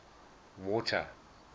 water